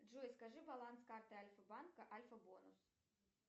джой скажи баланс карты альфабанка альфабонус